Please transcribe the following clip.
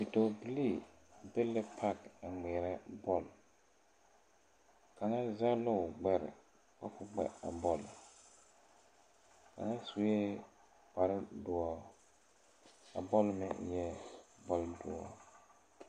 Bidɔɔbilee be la pak a ŋmeɛrɛ bɔl kaŋa zɛg la o gbɛre ka ko ŋmɛ a bɔl kaŋa sue kpare doɔ a bɔl meŋ eɛɛ bɔl doɔ.